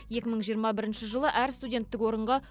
екі мың жиырма бірінші жылы әр студенттік орынға